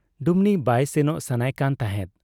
ᱰᱩᱢᱱᱤ ᱵᱟᱭ ᱥᱮᱱᱚᱜ ᱥᱟᱱᱟᱭ ᱠᱟᱱ ᱛᱟᱦᱮᱸᱫ ᱾